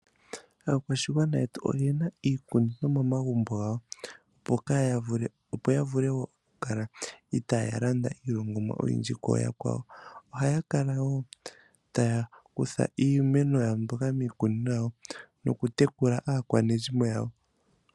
Aakwashigwana yetu oyena iikunino momagumbo gawo opo yavule okukala itaya landa iilongomwa oyindji koyakwawo, ohaya kala wo taya kutha iimeno yawo mbyoka miikunino yawo nokutekula aakwanezimo yawo.